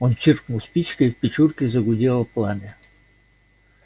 он чиркнул спичкой и в печурке загудело пламя